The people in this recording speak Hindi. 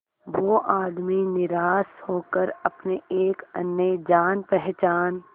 वो आदमी निराश होकर अपने एक अन्य जान पहचान